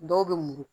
Dɔw bɛ mugu